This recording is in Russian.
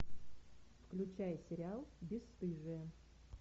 включай сериал бесстыжие